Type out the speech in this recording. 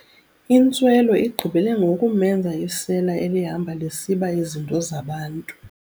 Intswelo igqibele ngokumenza isela elihamba lisiba izinto zabantu.